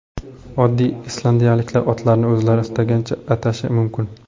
Oddiy islandiyaliklar otlarini o‘zlari istagancha atashi mumkin.